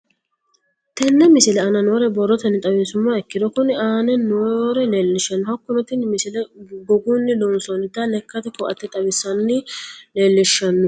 Tenne misile aana noore borrotenni xawisummoha ikirro kunni aane noore leelishano. Hakunno tinni misile gogunni loonsonnita lekate ko'atte xawisse leelishshano.